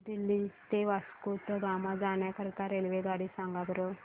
new Delhi ते वास्को द गामा जाण्या करीता रेल्वेगाडी सांगा बरं